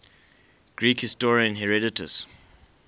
greek historian herodotus